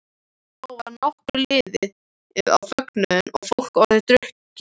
Þá var nokkuð liðið á fögnuðinn og fólk orðið drukkið.